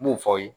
N b'o fɔ aw ye